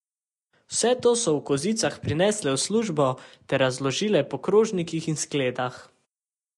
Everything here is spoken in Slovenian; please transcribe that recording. Vse to so v kozicah prinesle v službo ter razložile po krožnikih in skledah.